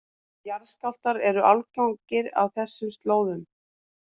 Jarðskjálftar eru algengir á þessum slóðum